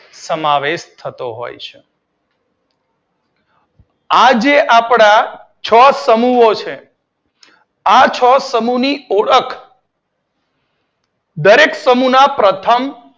સમાવેશ કરાય છે. આજે આપડા છ સમૂહો છે આ છ સમૂહની ઓળખ દરેક સમૂહના પ્રથમ